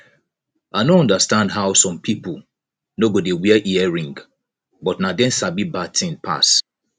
i no understand how some people no go dey wear earring but na dem sabi bad thing pass